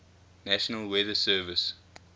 national weather service